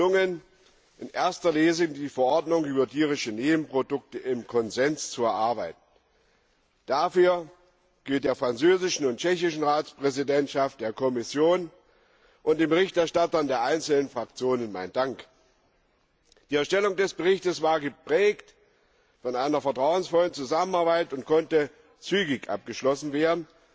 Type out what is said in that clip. Es ist gelungen, in erster Lesung die Verordnung über tierische Nebenprodukte im Konsens zu erarbeiten. Dafür gilt der französischen und tschechischen Ratspräsidentschaft, der Kommission und den Berichterstattern der einzelnen Fraktionen mein Dank. Die Erstellung des Berichts war geprägt von einer vertrauensvollen Zusammenarbeit und konnte zügig abgeschlossen werden,